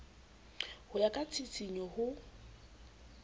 ho ya ka tshisinyo ho